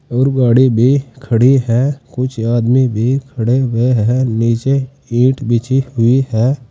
और गाड़ी भी खड़ी है कुछ आदमी भी खड़े हुए हैं नीचे ईट बिछी हुई है।